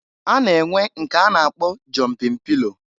A na-enwe nke a na-akpọ jọmpin pilo.